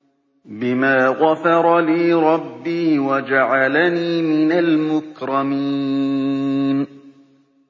بِمَا غَفَرَ لِي رَبِّي وَجَعَلَنِي مِنَ الْمُكْرَمِينَ